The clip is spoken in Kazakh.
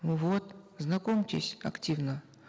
ну вот знакомьтесь активно